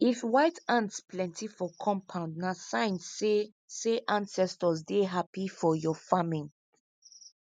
if white ants plenty for compound na sign say say ancestors dey happy for your farming